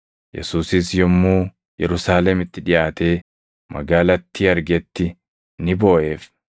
Yesuusis yommuu Yerusaalemitti dhiʼaatee magaalattii argetti ni booʼeef;